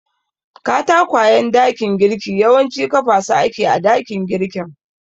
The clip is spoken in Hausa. Katakwayen dakin girki yawanci kafa su ake a dakin girkin.